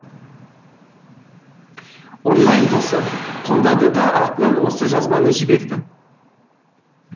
онлайн досы қолдады да артынан осы жазбаны жіберді